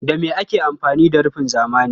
Da me ake amfani da rufin zamani?